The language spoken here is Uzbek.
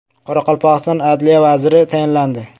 Qoraqalpog‘iston adliya vaziri tayinlandi.